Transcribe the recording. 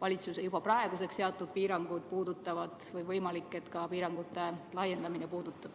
valitsuse juba praeguseks seatud piirangud puudutavad ja võimalik, et puudutab ka piirangute laiendamine.